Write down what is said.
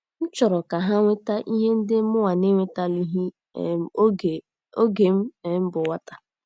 M chọrọ ka ha nweta ihe ndị mụnwa na - enwetalighị um oge m um bụ nwata. ”